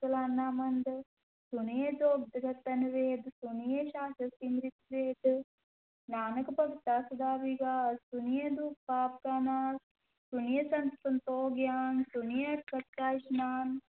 ਸਾਲਾਹਣ ਮੰਦੁ, ਸੁਣਿਐ ਜੋਗ ਜੁਗਤਿ ਤਨਿ ਭੇਦ, ਸੁਣਿਐ ਸਾਸਤ ਸਿਮ੍ਰਿਤਿ ਵੇਦ, ਨਾਨਕ ਭਗਤਾ ਸਦਾ ਵਿਗਾਸੁ, ਸੁਣਿਐ ਦੂਖ ਪਾਪ ਕਾ ਨਾਸੁ, ਸੁਣਿਐ ਸਤੁ ਸੰਤੋਖੁ ਗਿਆਨੁ, ਸੁਣਿਐ ਅਠਸਠਿ ਕਾ ਇਸਨਾਨੁ।